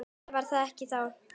Eða var það ekki þá?